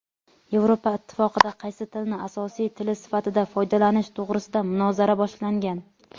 Yevropa Ittifoqida qaysi tilni asosiy tili sifatida foydalanish to‘g‘risida munozara boshlangan.